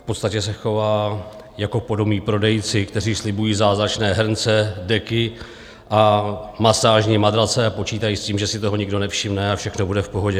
V podstatě se chová jako podomní prodejci, kteří slibují zázračné hrnce, deky a masážní matrace a počítají s tím, že si toho nikdo nevšimne a všechno bude v pohodě.